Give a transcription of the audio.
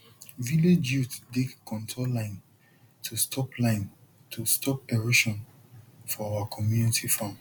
village youth dig contour line to stop line to stop erosion for our community farm